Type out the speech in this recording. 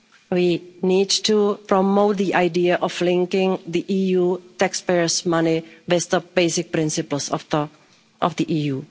We need to promote the idea of linking the EU taxpayers' money with the basic principles of the